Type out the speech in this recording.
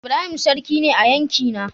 Ibrahim sarki ne a yankina.